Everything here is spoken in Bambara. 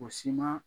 O si ma